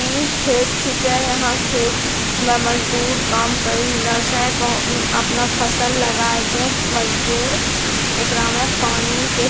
इ खेत छिकै अहाँ खेत में मजूदर काम करी रहलौ छे बहो म्म अपना फसल लगाय के मजूदर एकरा में पानी के --